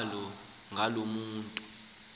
njalo ngaloo mntu